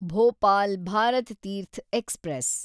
Bhopal Bharat Teerth express